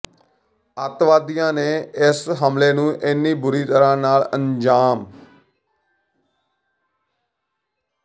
ਅਤਿਵਾਦੀਆਂ ਨੇ ਇਸ ਹਮਲੇ ਨੂੰ ਇੰਨੀ ਬੁਰੀ ਤਰ੍ਹਾਂ ਨਾਲ ਅੰਜ਼ਾਮ